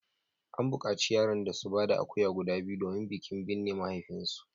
An bukaci yaran da su ba da akuya guda biyu domin bikin binne mahaifinsu